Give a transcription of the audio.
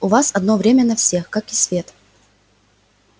у вас одно время на всех как и свет